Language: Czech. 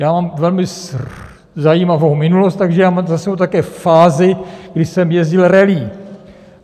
Já mám velmi zajímavou minulost, takže já mám za sebou také fázi, kdy jsem jezdil rallye.